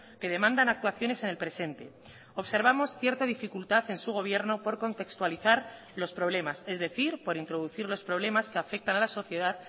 que demandan actuaciones en el presente observamos cierta dificultad en su gobierno por contextualizar los problemas es decir por introducir los problemas que afectan a la sociedad